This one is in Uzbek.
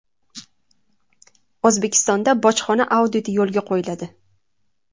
O‘zbekistonda bojxona auditi yo‘lga qo‘yiladi.